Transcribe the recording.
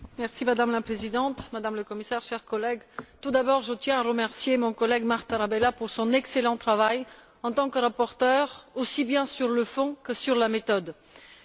Madame la Présidente, Madame la Commissaire, chers collègues, je tiens, tout d'abord, à remercier mon collègue Marc Tarabella pour son excellent travail, en tant que rapporteur, aussi bien sur le fond que sur la forme.